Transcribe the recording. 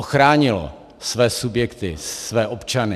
Ochránilo své subjekty, své občany.